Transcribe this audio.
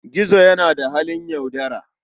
Gizo yana da halin yaudara.